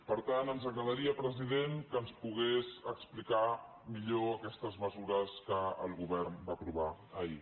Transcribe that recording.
per tant ens agradaria president que ens pogués explicar millor aquestes mesures que el govern va aprovar ahir